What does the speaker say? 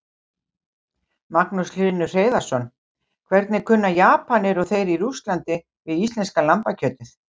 Magnús Hlynur Hreiðarsson: Hvernig kunna Japanir og þeir í Rússlandi við íslenska lambakjötið?